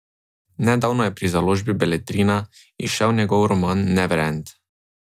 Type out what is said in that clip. Nedavno je pri založbi Beletrina izšel njegov roman Neverend.